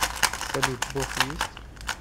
салют бог есть